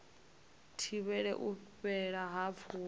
thivhele u fhela ha pfulo